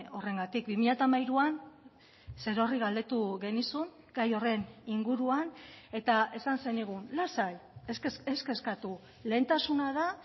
horrengatik bi mila hamairuan zerorri galdetu genizun gai horren inguruan eta esan zenigun lasai ez kezkatu lehentasuna da